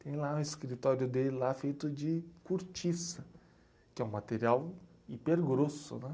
Tem lá um escritório dele lá feito de cortiça, que é um material hiper grosso né